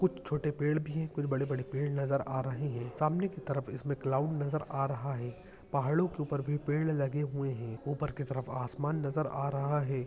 कुछ छोटे पेड़ भी हैं कुछ बड़े -बड़े पेड़ नज़र आ रहे हैं सामने के तरफ इसमें क्लाउड नज़र आ रहा है पहाड़ों के ऊपर भी पेड़ लगे हुए हैं ऊपर के तरफ आसमान नजर आ रहा है।